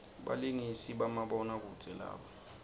balingisi bamabona kudze laba